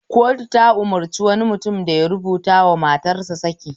Kotu ta umarci wani mutum da ya rubutawa matarsa saki